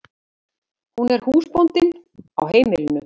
Hún er húsbóndinn á heimilinu.